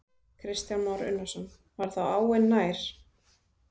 Kristján Már Unnarsson: Var þá áin nær?